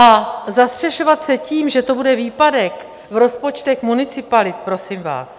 A zastřešovat se tím, že to bude výpadek v rozpočtech municipalit, prosím vás...